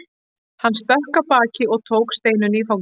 Hann stökk af baki og tók Steinunni í fangið.